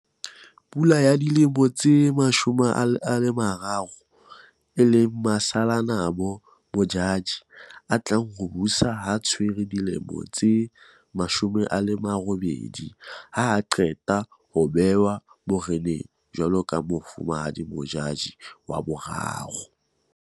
Pula ya dilemo tse 13 e leng Masalanabo Modjadji a tlang ho o busa ha tshwara dilemo tse 18, ha a qeta ho bewa bo reneng jwaloka Mofumahadi Modjadji VII.